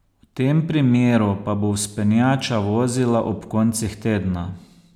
V tem primeru pa bo vzpenjača vozila ob koncih tedna.